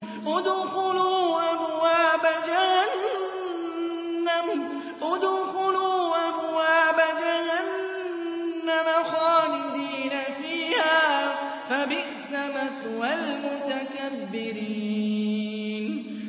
ادْخُلُوا أَبْوَابَ جَهَنَّمَ خَالِدِينَ فِيهَا ۖ فَبِئْسَ مَثْوَى الْمُتَكَبِّرِينَ